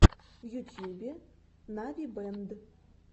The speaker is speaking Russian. в ютьюбе навибэнд